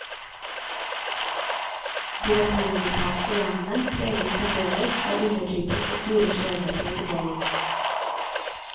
De latinamerikanske landene preges fremdeles av undertrykking og store skjevheter i fordeling.